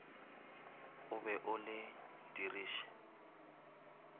o be o le diriše